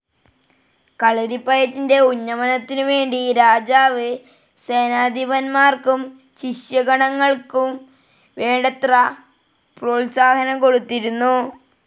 കളരിപ്പയറ്റിന്റെ ഉന്നമനത്തിനുവേണ്ടി രാജാവ് സേനാധിപന്മാർക്കും ശിഷ്യഗണങ്ങൾക്കും വേണ്ടത്ര പ്രോത്സാഹനം കൊടുത്തിരുന്നു.